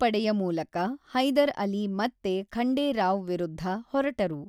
ಈ ಪಡೆಯ ಮೂಲಕ ಹೈದರ್ ಅಲಿ ಮತ್ತೆ ಖಂಡೇ ರಾವ್ ವಿರುದ್ಧ ಹೊರಟರು.